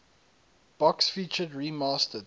box featured remastered